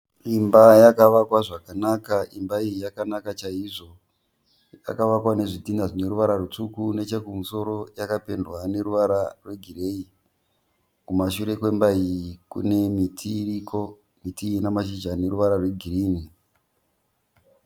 Imba yakavakwa zvakanaka. Imba iyi yakanaka chaizvo. Yakavakwa nezvitinha zvine ruvara rutsvuku nechekumusoro yakapendwa neruvara rwegireyi. Kumashure kwemba iyi kune miti iriko. Miti iyi ine mashizha ane ruvara rwegirinhi.